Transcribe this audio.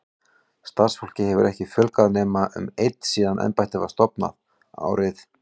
Starfsfólki hefur ekki fjölgað nema um einn síðan embættið var stofnað, árið